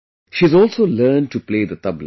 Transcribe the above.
She has also learned to play the tabla